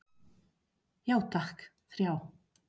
Já takk, þrjá.